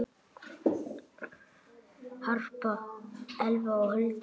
Harpa, Elfa og Hulda.